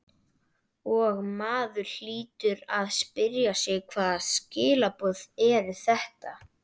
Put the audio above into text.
Og maður hlýtur að spyrja sig hvaða skilaboð eru þetta?